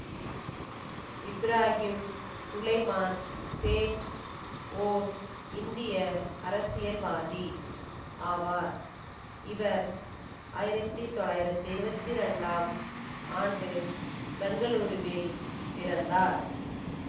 இப்ராஹிம் சுலைமான் சேட் ஓர் இந்திய அரசியல்வாதி ஆவார் இவர் ஆயிரத்தி தொள்ளாயிரத்தி இருபத்தி ரெண்டாம் ஆண்டு பெங்களூருவில் பிறந்தார்